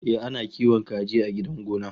Ehh, ana kiwon kaji a gidan gona